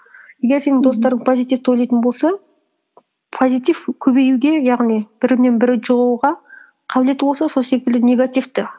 егер сенің достарың позитивті ойлайтын болса позитив көбеюге яғни бірінен бірі жұғуға қабілеті болса сол секілді негатив те